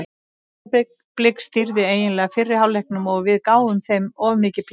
Breiðablik stýrði eiginlega fyrri hálfleiknum og við gáfum þeim of mikið pláss.